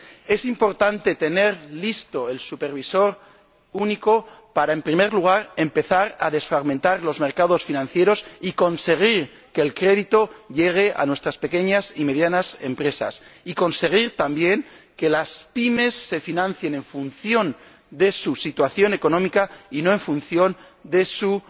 Es importante tener listo el supervisor único para, en primer lugar, empezar a desfragmentar los mercados financieros y conseguir que el crédito llegue a nuestras pequeñas y medianas empresas, y conseguir también que las PYME se financien en función de su situación económica y no en función de su